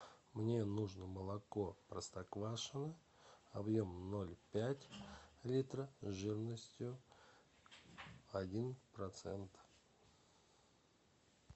мне нужно молоко простоквашино объемом ноль пять литра жирностью один процент